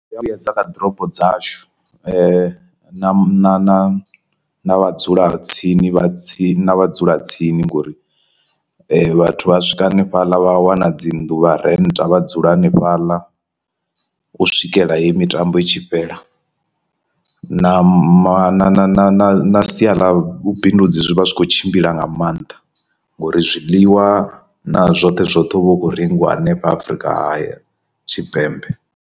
Zwia vhuyedza kha ḓorobo dzashu na na na na vhadzulatsini vha tsini na vhadzulatsini ngori vhathu vha swika hanefhaḽa vha wana dzi nnḓu vha renta vha dzula hanefhaḽa u swikela heyi mitambo i tshi fhela, na ma na sia ḽa vhubindudzi zwi vha zwi khou tshimbila nga maanḓa ngori zwiḽiwa na zwoṱhe zwoṱhe huvha ukho rengiwa hanefha Afurika haya Tshipembe.